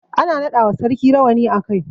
Ana naɗa wa sarki rawani a kai.